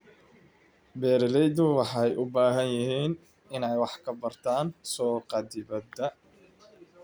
Beeraleydu waxay u baahan yihiin inay wax ka bartaan suuqa dibadda.